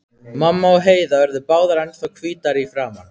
Mamma og Heiða urðu báðar ennþá hvítari í framan.